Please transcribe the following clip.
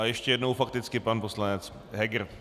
A ještě jednou fakticky pan poslanec Heger.